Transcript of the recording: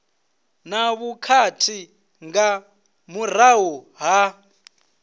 na vhukhakhi nga murahu ha